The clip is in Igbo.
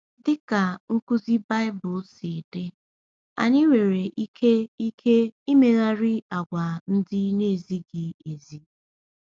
Dị ka nkuzi Baịbụl si dị, anyị nwere ike ike imegharị àgwà ndị na-ezighị ezi.